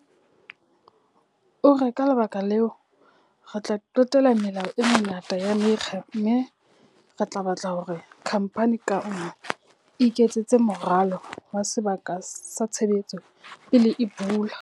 O re, ka lebaka leo, re tla qetela melao e mengata ya mekga mme re tla batla hore khamphani ka nngwe e iketsetse moralo wa sebaka sa tshebetso pele e bula.